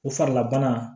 O farilabana